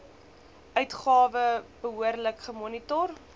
uitgawe behoorlik gemonitor